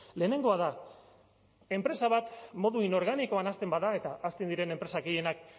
lehenengoa da enpresa bat modu inorganikoan hasten bada eta hasten diren enpresa gehienak